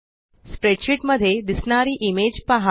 spreadsheet मध्ये दिसणारी image पहा